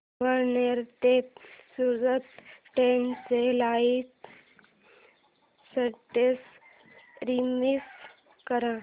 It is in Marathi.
अमळनेर ते सूरत ट्रेन चे लाईव स्टेटस रीफ्रेश कर